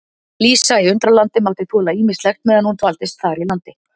Lísa í Undralandi mátti þola ýmislegt meðan hún dvaldist þar í landi.